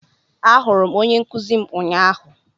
Ahụrụ m onye nkuzi m ụnyahụ